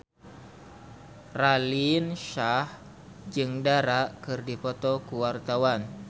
Raline Shah jeung Dara keur dipoto ku wartawan